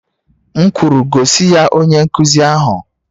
M kwuru, gosi ya onye nkuzi ahụ!